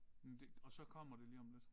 Men det og så kommer det lige om lidt